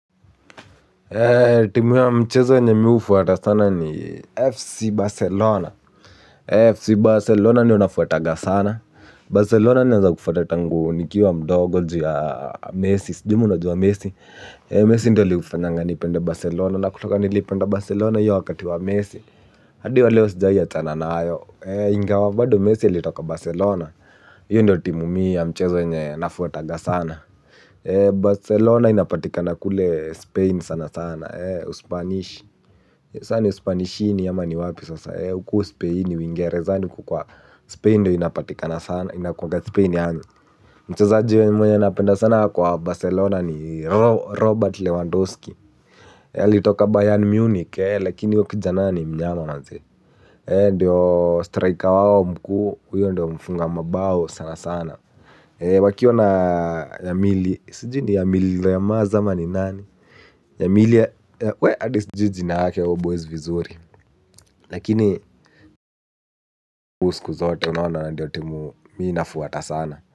Timu ya mchezo yenye mi hufuata sana ni FC Barcelona FC Barcelona niyo nafuataga sana Barcelona naeza kufwata tangu nikiwa mdogo ju mihua najua mesi. Mesi ndio ali ufanyanga nipende Barcelona. Na kutoka nilipenda Barcelona hio wakati wa mesi Adiwa leo sijai achana na ayo ingawa bado mesi alitoka Barcelona hio ndio timu ya mchezo yenye nafuataga sana Barcelona inapatikana kule Spain sana sana Spanish. Saa ni Spanishi ama ni wapi sasa hukuu Spain uingerezani kukua Spain ndio inapatikana sana. Inakuanga Spain yaani mchezaji mwenye napenda sana kwa Barcelona ni Robert Lewandowski. Yaali toka Bayern Munich. Lakini huyo kijana ni mnyama maze. Endio striker wao mkuu. Uyo ndio mfunga mabao sana sana wakiwa na yamili sijui ni yamili yamaz ama ni nani hadi sijui jina yake huyo boys vizuri. Lakini usiku zote unaona ndio timu. Miinafuata sana.